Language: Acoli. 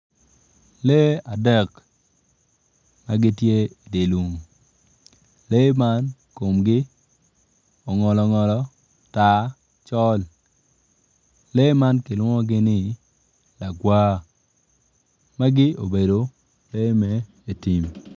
Lee adek ma gitye idye lum lee man komgi ongolo ongolo tar col lee man kilwongogi ni lagwa magi obedo lee me dye tim.